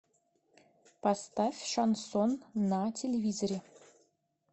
поставь шансон на телевизоре